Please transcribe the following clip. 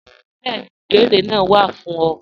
Bẹẹni, ìbèẹrè naa wá fún ọ.